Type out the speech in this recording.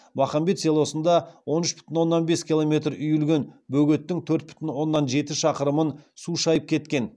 махамбет селосында он үш бүтін оннан бес километр үйілген бөгеттің төрт бүтін оннан жеті шақырымын су шайып кеткен